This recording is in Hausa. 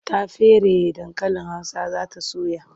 Ta feraye dankalin Hausa za ta soya.